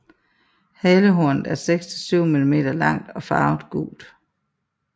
Halehornet er 6 til 7 mm langt og farvet gult